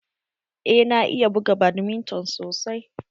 Eh na iya buga badminton sosai.